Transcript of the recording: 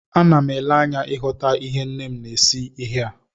Ana m ele anya ịghọta ihe nne m na-esi ihe a